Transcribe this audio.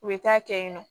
U bɛ taa kɛ yen nɔ